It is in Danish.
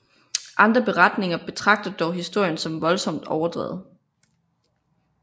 Andre beretninger betragter dog historien som voldsomt overdrevet